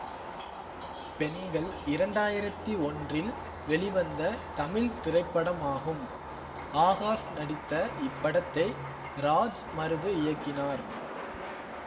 பெண்கள் இரண்டாயிரத்தி ஒன்றில் வெளிவந்த தமிழ் திரைப்படமாகும் ஆகாஷ் நடித்த இப்படத்தை ராஜ்மருது இயக்கினார்